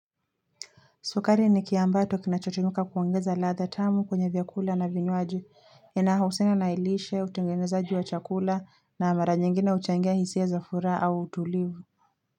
Sukari ni kiambato kinachotumika kuongeza ladha tamu kwenye vyakula na vinywaji, ina hausina na ilishe, utengenezaji wa chakula na mara nyingine huchangia hisia za furaa au utulivu.